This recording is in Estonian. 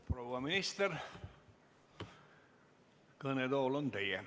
Proua minister, kõnetool on teie.